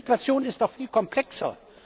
Die Situation ist doch viel komplexer.